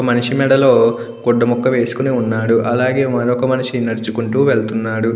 మనిషి మెడలో గుడ్డ ముక్క వేసుకుని ఉన్నాడు అలాగే మరొక మనిషి నడుచుకుంటూ వెళ్తున్నాడు.